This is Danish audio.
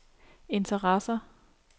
interesser